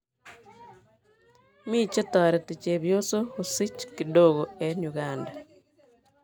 Me chetareti chebyosok kosich kidogo eng Uganda.